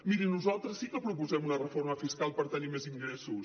mirin nosaltres sí que proposem una reforma fiscal per tenir més ingressos